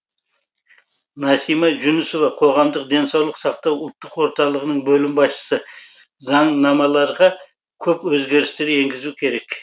насима жүнісова қоғамдық денсаулық сақтау ұлттық орталығының бөлім басшысы заңнамаларға көп өзгерістер енгізу керек